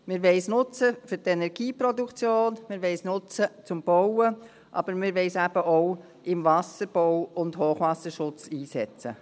Wir wollen es nutzen für die Energieproduktion, zum Bauen, aber wir wollen es eben auch im Wasserbau und Hochwasserschutz einsetzen.